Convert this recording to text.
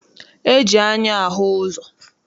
E ji anya ahụ ụzọ.